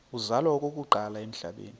uzalwa okokuqala emhlabeni